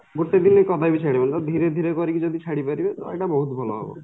ଗୋଟେ ଦିନ ରେ କଦାପି ଛଜଡ଼ି ହବନି ତ ଧୀରେ ଧୀରେ କରିକି ଯଦି ଛାଡିପାରିବେ ତ ଏଇଟା ବହୁତ ଭଲ ହବ